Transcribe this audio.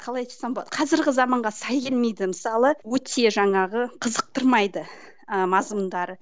қалай айтсам болады қазіргі заманға сай келмейді мысалы өте жаңағы қызықтырмайды ы мазмұндары